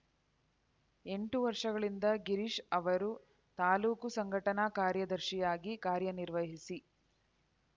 ಎಂಟು ವರ್ಷಗಳಿಂದ ಗಿರೀಶ್‌ ಅವರು ತಾಲೂಕು ಸಂಘಟನಾ ಕಾರ್ಯದರ್ಶಿಯಾಗಿ ಕಾರ್ಯನಿರ್ವಹಿಸಿ